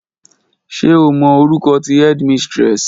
Ṣe o mọ orukọ ti headmistress?